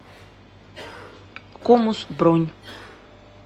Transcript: комус бронь